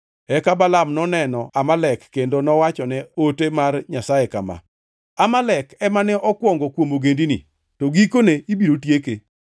Eka Balaam noneno Amalek kendo nowachone ote mar Nyasaye kama: “Amalek ema ne okwongo kuom ogendini, to gikone ibiro tieke.”